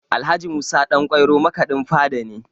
Alh. Musa Ɗanƙwairo makaɗin fada ne